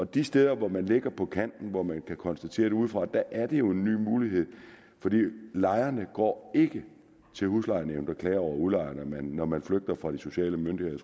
de steder hvor man ligger på kanten hvor man kan konstatere det udefra er det jo en ny mulighed for lejerne går ikke til huslejenævnet og klager over udlejeren når man flygter fra de sociale myndigheder